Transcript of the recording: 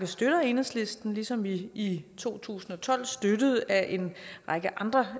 støtter enhedslisten ligesom vi i to tusind og tolv støttede at en række andre